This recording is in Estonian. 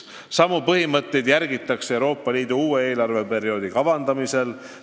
Samu põhimõtteid järgitakse Euroopa Liidu uue eelarveperioodi kavandamisel.